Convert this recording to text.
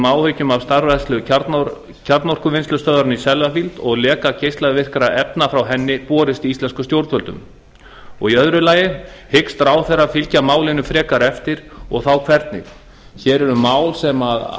áhyggjum af starfrækslu kjarnorkuvinnslustöðvarinnar í sellafield og leka geislavirkra efna frá henni borist íslenskum stjórnvöldum tvö hyggst ráðherra fylgja málinu frekar eftir og þá hvernig hér er mál sem